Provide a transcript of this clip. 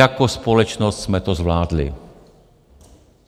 Jako společnost jsme to zvládli,